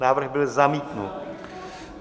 Návrh byl zamítnut.